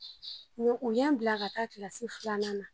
u y'an bila ka taa kilasi filanan na.